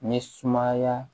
Ni sumaya